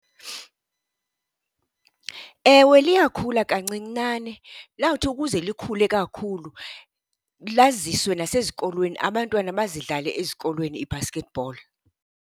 Ewe, liyakhula kancinane. Lawuthi ukuze likhule kakhulu laziswe nasezikolweni, abantwana bazidlale ezikolweni ii-basketball.